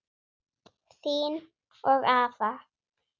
Þín og afa.